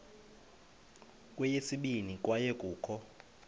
kweyesibini kwaye kukho